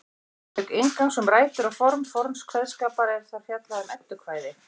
Auk inngangs um rætur og form forns kveðskapar er þar fjallað um eddukvæði.